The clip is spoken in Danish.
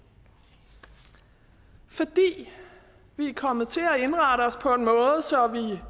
fordi vi er kommet til at indrette os på en måde så vi